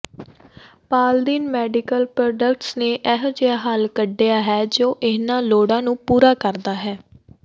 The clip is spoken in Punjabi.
ਪਾਲਦਿਨ ਮੈਡੀਕਲ ਪ੍ਰੋਡੱਕਟਸ ਨੇ ਅਜਿਹਾ ਹੱਲ ਕੱਢਿਆ ਹੈ ਜੋ ਇਹਨਾਂ ਲੋੜਾਂ ਨੂੰ ਪੂਰਾ ਕਰਦਾ ਹੈ